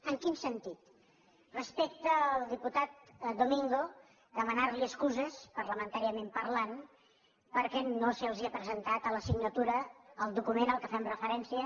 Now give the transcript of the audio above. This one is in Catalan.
en quin sentit respecte al diputat domingo demanar li excuses parlamentàriament parlant perquè no se’ls ha presentat a la signatura el document a què fem referència